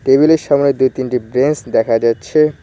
Table -এর সামনে দুই তিনটি ব্রেঞ্চ দেখা যাচ্ছে।